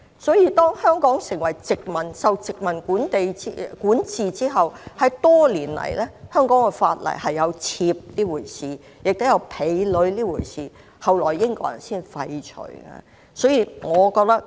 所以，當香港受殖民管治後，多年來香港的法例有妾這回事，也有婢女這回事，後來才被英國人廢除。